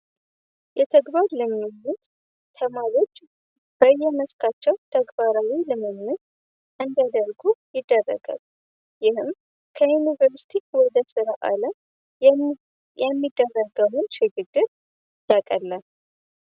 የተግባር ልምምድ ተማሪዎች በየመስካቸው ተግባራዊ ልምምድ እንዲያደርጉ ይደረጋል። ይህም ከዩኒቨርሲቲ አለም ይህም የሚደረገውን ሽግግር ያቀላል።